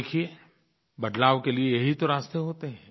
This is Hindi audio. देखिए बदलाव के लिये यही तो रास्ते होते हैं